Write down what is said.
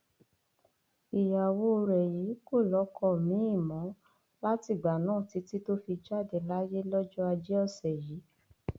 ìyàwó rẹ yìí kò lọkọ miín m o látìgbà náà títí tó fi jáde láyé lọjọ ajé ọsẹ yìí